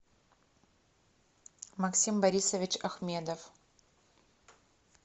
максим борисович ахмедов